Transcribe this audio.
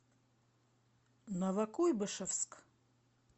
новокуйбышевск